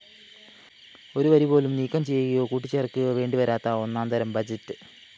ഒരുവരിപോലും നീക്കം ചെയ്യുകയോ കൂട്ടിച്ചേര്‍ക്കുകയോ വേണ്ടിവരാത്ത ഒന്നാംതരം ബഡ്ജറ്റ്‌